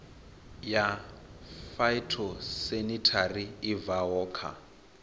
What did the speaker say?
ya phytosanitary i bvaho kha